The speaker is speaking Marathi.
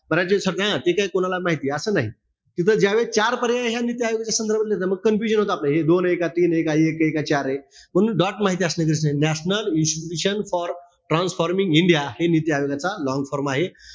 ते काई कोणाला माहिती असं नाही. तिथं ज्या वेळेस चार पर्याय, ह्या नीती आयोगाच्या संदर्भातले, मग confusion होत. हे दोन ए का, तीन ए, का एक ए, का चार ए, म्हणून माहिती असणं गरजेचं आहे. National institution for transforming India हे नीती आयोगाचा long form आहे.